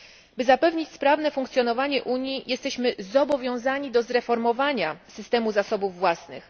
By zapewnić sprawne funkcjonowanie Unii, jesteśmy zobowiązani do zreformowania systemu zasobów własnych.